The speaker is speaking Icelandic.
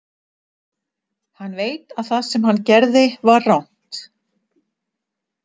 Hann veit að það sem hann gerði var rangt.